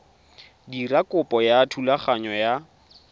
dira kopo ya thulaganyo ya